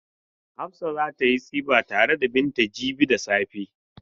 Hafsa za ta yi tsifa tare da Binta jibi da safe.